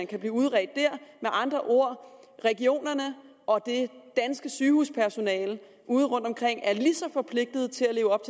kan blive udredt der med andre ord regionerne og det danske sygehuspersonale ude rundtomkring er lige så forpligtet til at leve op